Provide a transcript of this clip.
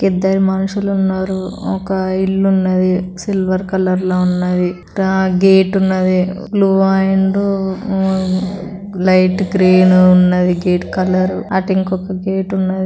ఇద్దరు మనుషులు ఉన్నారు. ఒక ఇల్లు ఉన్నది సిల్వర్ కలర్ లో ఉన్నది. గేట్ ఉన్నది బ్ల్యూ అండ్ లైట్ గ్రీన్ ఉన్నది. Gate colour . అటు ఇంకో గేట్ ఉన్నది.